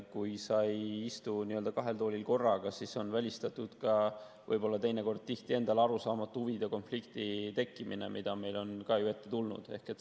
Kui sa ei istu n‑ö kahel toolil korraga, siis on välistatud ka võib-olla teinekord tihti endale arusaamatu huvide konflikti tekkimine, mida on ka ette tulnud.